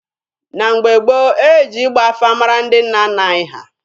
Na mgbe gboo, e ji ịgba afa mara ndị nna nna anyị ha.